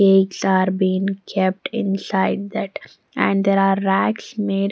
eggs are been kept inside that and there are racks made--